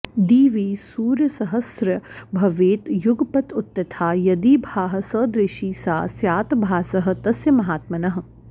दिवि सूर्यसहस्रस्य भवेत् युगपत् उत्थिता यदि भाः सदृशी सा स्यात् भासः तस्य महात्मनः